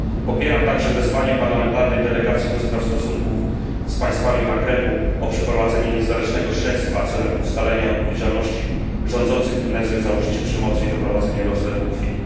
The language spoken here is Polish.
Popieram także wezwanie parlamentarnej delegacji do spraw stosunków z państwami Maghrebu o przeprowadzenie niezależnego śledztwa celem ustalenia odpowiedzialności rządzących Tunezją za użycie przemocy i doprowadzenie do rozlewu krwi.